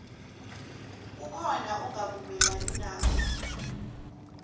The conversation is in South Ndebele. kukhona ongavumelani nakho